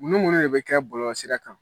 Mun ni mun de bɛ kɛ bɔlɔlɔsira kan?